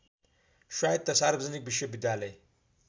स्वायत्त सार्वजनिक विश्वविद्यालय